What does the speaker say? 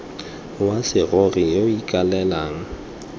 wa serori yo o ikaelelang